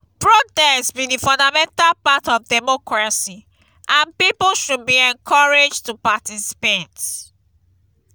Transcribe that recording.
protest be di fundamental part of democracy and people should be encouraged to participate.